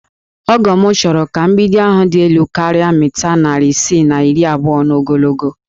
Ọgọ m chọrọ ka mgbidi ahụ dị elu karịa mita narị isii na iri abụọ n'ogologo